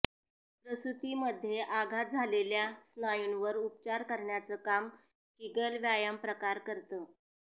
प्रसूतीमध्ये आघात झालेल्या स्नायूंवर उपचार करण्याचं काम कीगल व्यायामप्रकार करतं